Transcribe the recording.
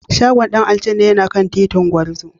Shagon Dan aljanna yana kan titin Gwarzo.